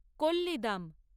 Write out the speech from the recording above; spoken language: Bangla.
কোল্লিদাম